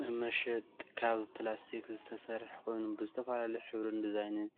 መመሸጥ ካብ ፕላስቲክ ዝተሰረሓ ኮይኑ ብዝተፈላለዩ ሕብርን ድዛይንን